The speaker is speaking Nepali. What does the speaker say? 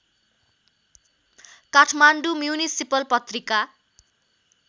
काठमाडौँ म्युनिसिपल पत्रिका